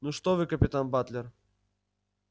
ну что вы капитан батлер